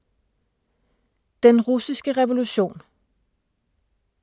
Den russiske revolution